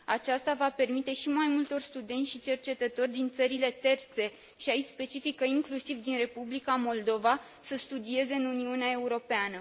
Aceasta va permite și mai multor studenți și cercetători din țările terțe și aici specific, inclusiv din Republica Moldova să studieze în Uniunea Europeană.